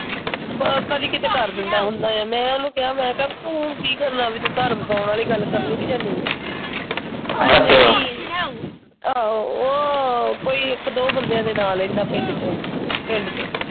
ਬਸ ਕਦੀ ਕੀਤੇ ਕਰ ਦਿੰਦਾ ਹੁੰਦਾ ਆ ਮੈਂ ਉਹਨੂੰ ਕਿਹਾ ਮੈਂ ਕਿਹਾ ਬੀ ਤੂੰ ਹੁਣ ਕਰਨਾ ਬੀ ਤੂੰ ਹੁਣ? ਘਰ ਬਸਾਉਣ ਵਾਲੀ ਗੱਲ ਕਰਨੀ ਆ ਨਹੀਂ? ਆਹੋ ਉਹ ਕੋਈ ਇੱਕ ਦੋ ਬੰਦਿਆਂ ਦੇ ਨਾ ਲੈਂਦਾ ਪਿੰਡ ਚੋਂ। ਪਿੰਡ ਚੋਂ।